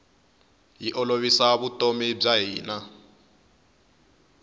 yi olovisa vutomi bya hina